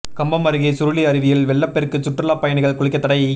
கம்பம் அருகே சுருளி அருவியில் வெள்ளப் பெருக்கு சுற்றுலாப் பயணிகள் குளிக்கத் தடை